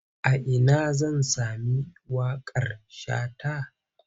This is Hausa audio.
A ina zan sami waƙar Shata?